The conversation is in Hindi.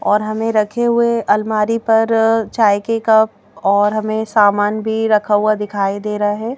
और हमें रखे हुए अलमारी पर चाय के कप और हमें सामान भी रखा हुआ दिखाई दे रहा है।